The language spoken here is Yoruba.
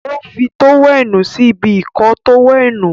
o fí tówẹ́ẹ̀nù sí ibi Ìkọ́ọ tówẹ́ẹ̀nù.